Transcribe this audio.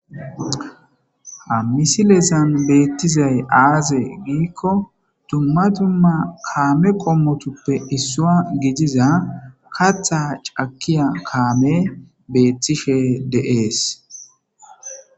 ha misilezan beettizay aaze giikko tumma tumma kaame qommotuppe issua gidiza katha cakiya kaame beettishe deees